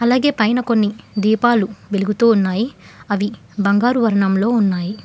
అలాగే పైన కొన్ని దీపాలు వెలుగుతూ ఉన్నాయి అవి బంగారు వర్ణంలో ఉన్నాయి.